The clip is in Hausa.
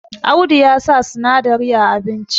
Audu ya sa sinadari a abinci